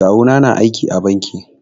Kawu na na aiki a banki